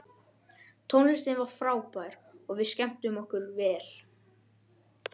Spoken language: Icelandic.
Tónlistin var frábær og við skemmtum okkur vel.